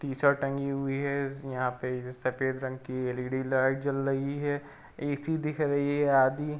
T shirt टगी हुई है। यहां पे सफेद रंग की एल ई डी लाइट जल रही है। एसी दिख रही है आदि --